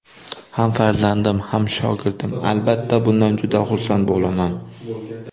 Ham farzandim, ham shogirdim, albatta bundan juda xursand bo‘laman.